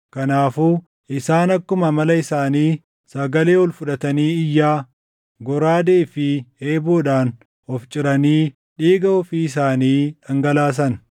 Kanaafuu isaan akkuma amala isaanii sagalee ol fudhatanii iyyaa, goraadee fi eeboodhaan of ciranii dhiiga ofii isaanii dhangalaasan.